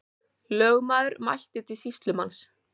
Lögmaður mælti til sýslumanns.